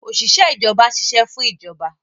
Òṣìṣẹ́ ìjọba ń ṣiṣẹ́ fún ìjọba